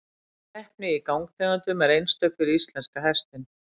Keppni í gangtegundum er einstök fyrir íslenska hestinn.